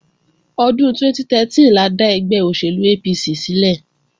Ọdún 2013 la dá ẹgbẹ́ òṣèlú APC sílẹ̀